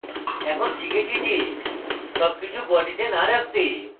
আমরা শিখেছি যে সবকিছু বডিতে না রাখতে